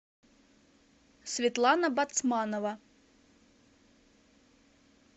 светлана бацманова